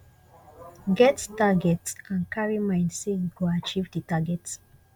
get target and carry mind sey you go achieve di target